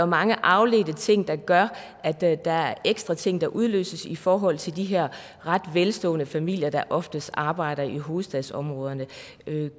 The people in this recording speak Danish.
mange afledte ting der gør at der der er ekstra ting der udløses i forhold til de her ret velstående familier der oftest arbejder i hovedstadsområdet